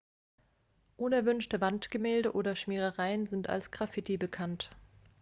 unerwünschte wandgemälde oder schmierereien sind als graffiti bekannt